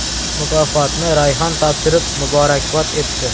Mukofotni Rayhon topshirib, muborakbod etdi.